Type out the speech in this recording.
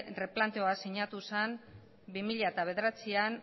erreplanteoa sinatu zen bi mila bederatzian